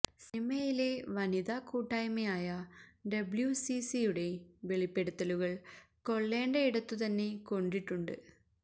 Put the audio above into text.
സിനിമയിലെ വനിത കൂട്ടായ്മയായ ഡബ്ല്യൂസിസി യുടെ വെളിപ്പെടുത്തലുകൾ കൊള്ളേണ്ടയിടത്തു തന്നെ കൊണ്ടിട്ടുണ്ട്